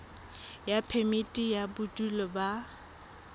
ya phemiti ya bodulo ba